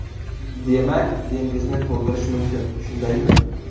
Demak, dengizni to‘ldirish mumkin, shundaymi?